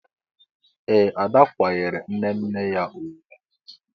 Ee! Ada kwanyeere nne nne ya ugwu.